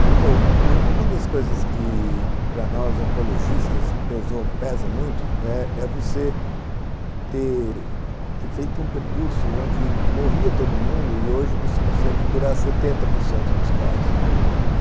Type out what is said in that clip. Então, uma das coisas que para nós oncologistas pesou, pesa muito é você ter feito um percurso onde morria todo mundo e hoje você consegue curar setenta por cento dos casos.